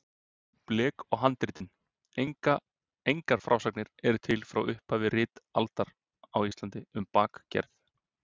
Blek og handritin Engar frásagnir eru til frá upphafi ritaldar á Íslandi um blekgerð.